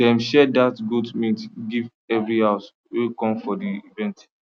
dem share that goat meat give every house wey come for the event